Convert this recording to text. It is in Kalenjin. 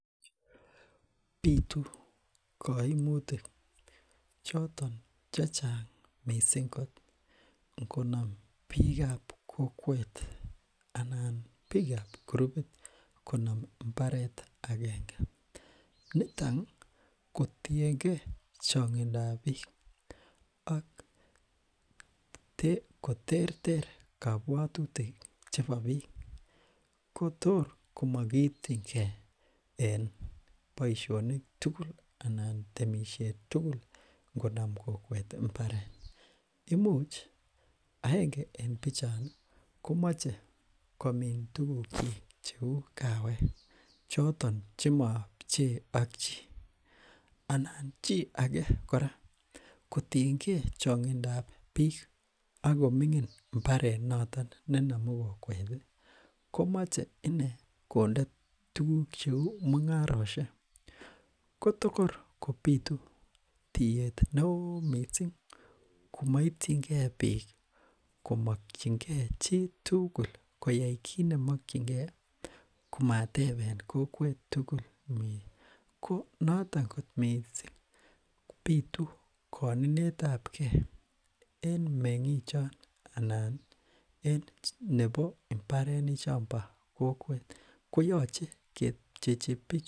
bitu koimutik choton chechang mising kot ngonom biikab kokwet anan biikab gurupit konom mbaret agenge nitoni kotiengee chonkidoab biik ak koterter kabwotutik chebo biik kotor komokiityin kee en boishonik tugul anan temishet tugul ngonomkokwet mbaret imuch aenge en bichoni komoche komin tugukyik cheu kaawek choton chemoo pchee ak chii anan chii ake kora kotienge chonkidab biiik akomingin mbaret notok nenomu kokweti komoche inee konde tuguk cheu mungaroshek kotokor kobitu tiyet neoo mising komoityin kee biik komokyin kee chitugul koyai kitnemokyinkee komateben kokwet tugul ko noton kot mising bitu koninetabkee en mengik chon anan en nebo mbarenichombo kokwet koyoche kepchechi